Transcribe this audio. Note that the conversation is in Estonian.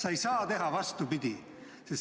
Ei saa teha vastupidi.